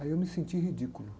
Aí eu me senti ridículo.